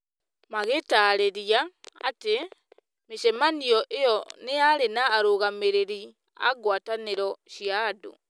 Magĩtaarĩria atĩ, mĩcemanio ĩyo nĩ yarĩ na arũgamĩrĩri a ngwatanĩro cia andũ,